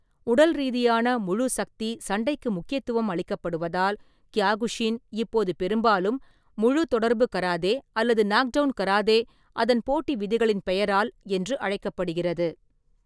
உடல்ரீதியான, முழு-சக்தி சண்டைக்கு முக்கியத்துவம் அளிக்கப்படுவதால், கியோகுஷின் இப்போது பெரும்பாலும் “முழு-தொடர்பு கராதே” அல்லது “நாக்டவுன் கராதே” அதன் போட்டி விதிகளின் பெயரால் என்று அழைக்கப்படுகிறது.